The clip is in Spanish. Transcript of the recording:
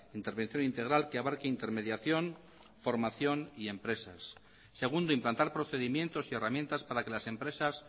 intervención integral que abarque intermediación formación y empresas segundo implantar procedimientos y herramientas para que las empresas